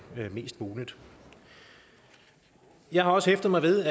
mest muligt jeg har også hæftet mig ved